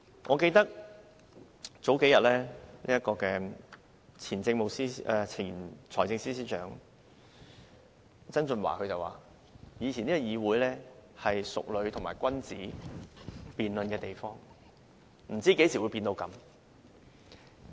我記得數天前，前財政司司長曾俊華說以前的議會是淑女和君子辯論的地方，不知何時變成這樣。